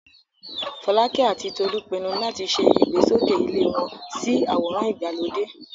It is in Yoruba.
Folake àti Tolu pinnu láti ṣe ìgbésókè ilé wọn sí àwòrán ìgbàlódé.